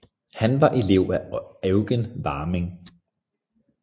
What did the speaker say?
Han var elev af Eugen Warming